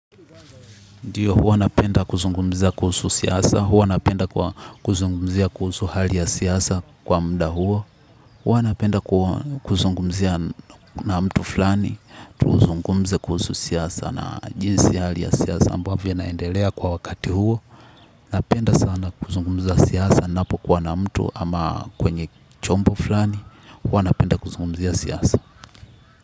Ndiyo, huwa napenda kuzungumza kuhusu siasa, huwa napenda kuzungumza kuhusu hali ya siasa kwa muda huo, huwa napenda kuzungumza na mtu fulani, tuzungumze kuhusu siasa na jinsi hali ya siasa ambavyo inaendelea kwa wakati huo, napenda sana kuzungumza siasa ninapo kuwa na mtu ama kwenye chombo fulani, huwa napenda kuzungumzia siasa.